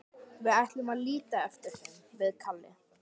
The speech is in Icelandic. Við ætlum að líta eftir þeim, við Kalli.